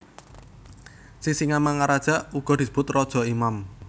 Sisingamaraja uga disebut raja imam